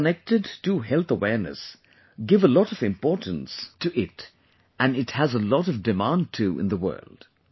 People connected to health awareness give a lot of importance to it and it has a lot of demand too in the world